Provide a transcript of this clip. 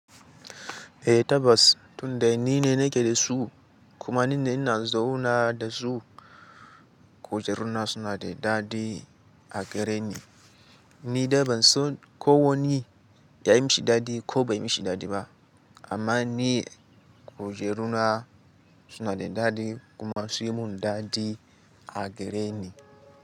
Eh tabbas tunda ni ne nake da su kuma ni ne ina zauna da su. Kujeruna suna da daɗi a gare ni. Ni dai ban son ko wani ya yi mishi daɗi ko bai yi mishi daɗi ba amma ni kujeruna suna da daɗi kuma sun yi mun daɗi a gare ni.